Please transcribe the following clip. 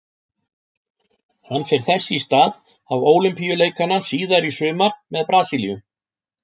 Hann fer þess í stað á Ólympíuleikana síðar í sumar með Brasilíu.